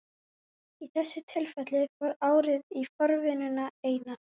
Í þessu tilfelli fór árið í forvinnuna eina.